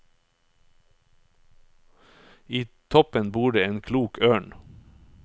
I toppen bor det en klok ørn.